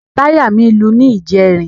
Táyà mí lu ní ìjẹrin.